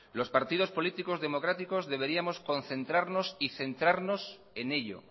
los partidos políticos democráticos deberíamos concentrarnos y centrarnos en ello